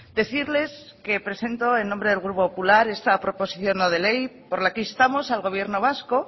decirles que presento en nombre del grupo popular esta proposición no de ley por la que instamos al gobierno vasco